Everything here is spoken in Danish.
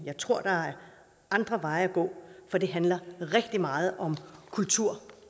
jeg tror der er andre veje at gå for det handler rigtig meget om kultur